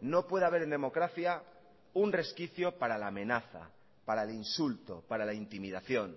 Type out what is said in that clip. no puede haber en democracia un resquicio para la amenaza para el insulto para la intimidación